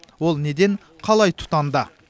ол неден қалай тұтанды